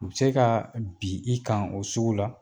U bɛ se ka bi i kan o sugu la.